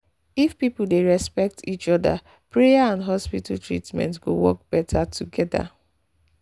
if people dey respect each other prayer and hospital treatment go work better together